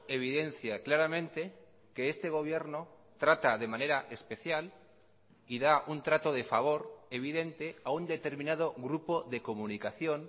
evidencia claramente que este gobierno trata de manera especial y da un trato de favor evidente a un determinado grupo de comunicación